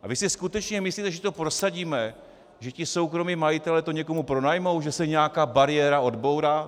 A vy si skutečně myslíte, že to prosadíme, že ti soukromí majitelé to někomu pronajmou, že se nějaká bariéra odbourá?